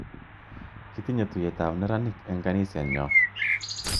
Kitinye tuyet ap meranik eng' kaniset nyo.